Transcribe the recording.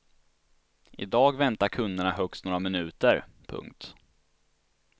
I dag väntar kunderna högst några minuter. punkt